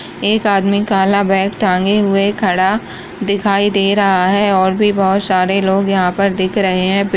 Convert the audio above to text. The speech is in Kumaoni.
एक आदमी काला बैग टाँगे हुए खड़ा दिखाई दे रहा है और भी बहोत सारे लोग यहाँ पर दिख रहे हैं पे --